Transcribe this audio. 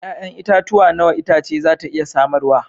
Ya'yan itatuwa nawa itace za ta iya samarwa?